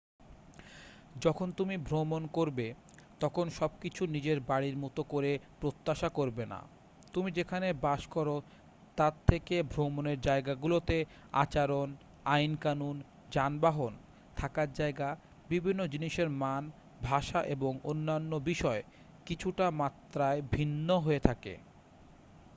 যখন তুমি ভ্রমন করবে তখন সবকিছু নিজের বাড়ির মতো করে প্রত্যাশা করবে না তুমি যেখানে বাস করো তার থেকে ভ্রমনের যায়গাগুলোতে আচরণ আইন কানুন যানবাহন থাকার যায়গা বিভিন্ন জিনিসের মান ভাষা এবং অন্যান্য বিষয় কিছুটা মাত্রায় ভিন্ন হয়ে থাকে